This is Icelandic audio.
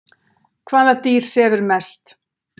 hvaða dýr sefur mest